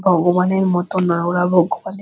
ভগবানের মতো না ওরা ভগবানের--